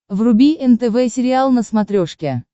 вруби нтв сериал на смотрешке